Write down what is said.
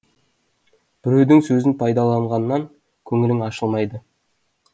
біреудің сөзін пайдаланғаннан көңілің ашылмайды